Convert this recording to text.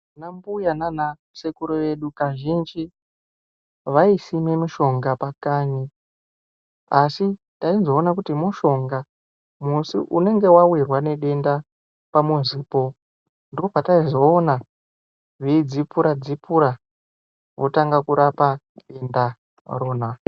Vanambuya nanasekuru vedu kazhinji, vaisime mishonga pakanyi, asi taizoona kuti mushonga musi weunenge wawirwa nedenda pamuzipo, ndipo petaizoona veidzipura-dzipura votanga kurapa nhenda ndirona.